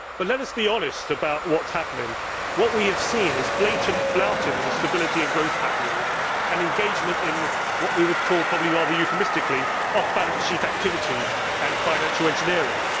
But let us be honest about what is happening. What we have seen is blatant flouting of the Stability and Growth Pact rules and engagement in what we would call, probably rather euphemistically, off balance sheet activities and financial engineering.